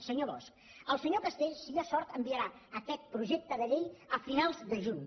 senyor bosch el senyor castells si hi ha sort enviarà aquest projecte de llei a finals de juny